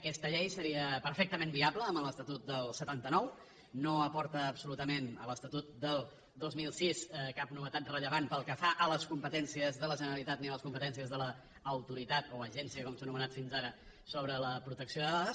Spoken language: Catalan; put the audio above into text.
aquesta llei seria perfectament viable amb l’estatut del setanta nou no aporta absolutament a l’estatut del dos mil sis cap novetat rellevant pel que fa a les competències de la generalitat ni a les competències de l’autoritat o agència com s’ha anomenat fins ara sobre la protecció de dades